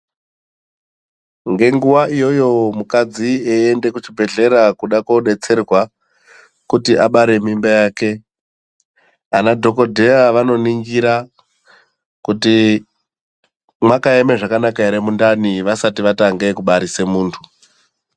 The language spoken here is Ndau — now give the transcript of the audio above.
Ngenguwa iyoyo mukadzi eyienda kuchibhehlera kuda kodetserwa kuti abare mimba yake, ana dhokodheya vanoningira kuti mwakaema zvakanaka ere mundani vasati vatange kubarisa muntu.